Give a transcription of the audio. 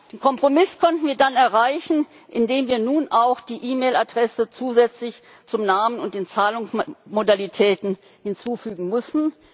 Den Kompromiss konnten wir dann erreichen, indem wir nun auch die E Mail Adresse zusätzlich zum Namen und den Zahlungsmodalitäten hinzufügen müssen.